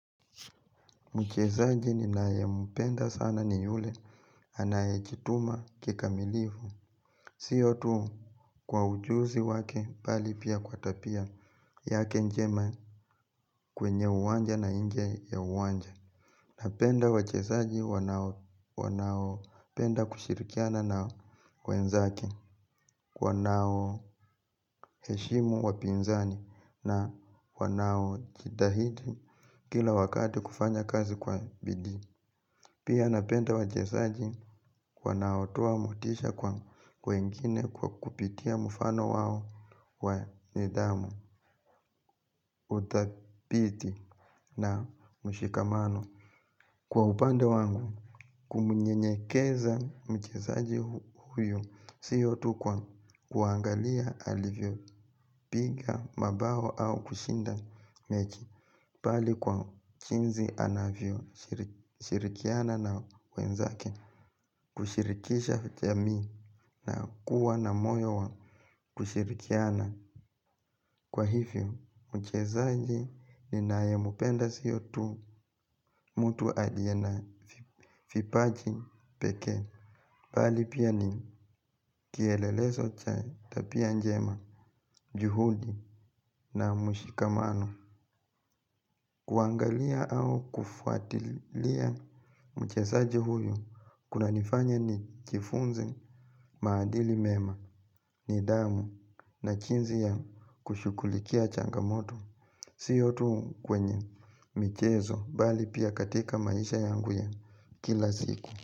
Mchezaji ninayempenda sana ni yule, anayejituma kikamilifu. Siyo tu kwa ujuzi wake bali pia kwa tabia yake njema kwenye uwanja na nje ya uwanja. Napenda wachezaji wanaopenda kushirikiana na wenzake, wanao heshimu wapinzani na wanao jitahidi kila wakati kufanya kazi kwa bidii. Pia napenda wachezaji wanaotoa motisha kwa wengine kwa kupitia mfano wao wa nidhamu udhabiti na mshikamano. Kwa upande wangu kumnyenyekeza mchezaji huyu siyo tu kwa kuangalia alivyopiga mabao au kushinda mechi bali kwa jinsi anavyoshirikiana na wenzake. Kushirikisha jamii na kuwa na moyo wa kushirikiana kwa hivyo mchezaji ninayempenda siyo tu mrltu aliye na vipaji pekee bali pia ni kielelezo cha tabia njema. Juhudi na mushikamano kuangalia au kufuatilia mchezaji huyu kunanifanya nijifunze maadili mema. Nidhamu na jinsi ya kushughulikia changamoto siyontu kwenye michezo bali pia katika maisha yangu ya kila ziku.